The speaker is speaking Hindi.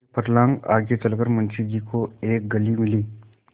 एक फर्लांग आगे चल कर मुंशी जी को एक गली मिली